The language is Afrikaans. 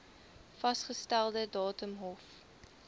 vasgestelde datum hof